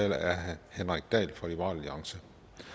er herre henrik dahl fra liberal alliance